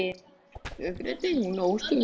Upprétt stóð hún óstudd.